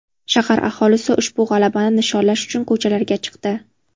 Shahar aholisi ushbu g‘alabani nishonlash uchun ko‘chalarga chiqdi .